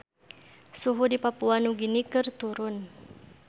Suhu di Papua Nugini keur turun